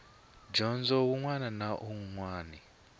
dyondzo wun wana na wun